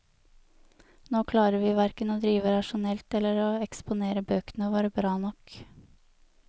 Nå klarer vi hverken å drive rasjonelt eller å eksponere bøkene våre bra nok.